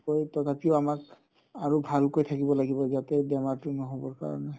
তথাপিও আমাক আৰু ভালকৈ থাকিব লাগিব যাতে বেমাৰতো নহ'বৰ কাৰণে